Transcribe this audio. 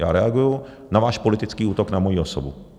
Já reaguji na váš politický útok na moji osobu.